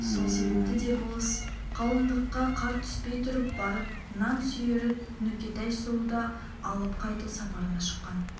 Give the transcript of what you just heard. сол себепті де болыс қалындыққа қар түспей тұрып барып нақсүйері нүкетай сұлуды алып қайту сапарына шыққан